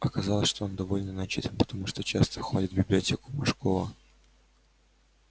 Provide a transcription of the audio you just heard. оказалось что он довольно начитан потому что часто ходит в библиотеку мошкова